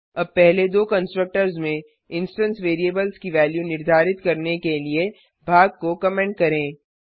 अब पहले दो कंस्ट्रक्टर्स में इंस्टेंस वेरिएबल्स की वेल्यू निर्धारित करने के लिए भाग को कमेंट करें